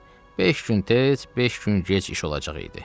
Əlbəttə, beş gün tez, beş gün gec iş olacaq idi.